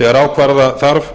þegar ákvarða þarf